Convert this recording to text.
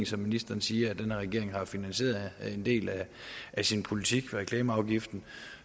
som ministeren siger at den her regering har finansieret en del af sin politik på reklameafgiften